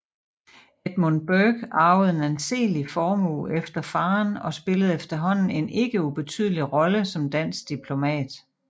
Edmund Bourke arvede en anselig formue efter faderen og spillede efterhånden en ikke ubetydelig rolle som dansk diplomat